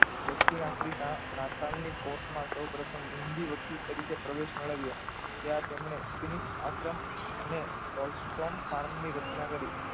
દક્ષિણ આફ્રિકા નાતાલની કોક માં હૂંડી વ્યક્તિ તરીકે પ્રવેશ મેળવ્યો ત્યાં તેમણે આશ્રમ અને ફાર્મની રચના કરી.